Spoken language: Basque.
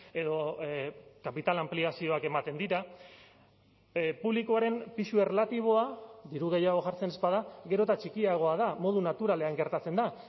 edo kapital anpliazioak ematen dira publikoaren pisu erlatiboa diru gehiago jartzen ez bada gero eta txikiagoa da modu naturalean gertatzen da